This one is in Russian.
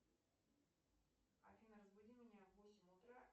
афина разбуди меня в восемь утра